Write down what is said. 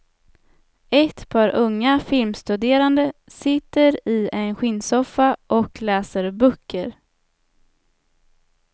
Ett par unga filmstuderande sitter i en skinnsoffa och läser böcker.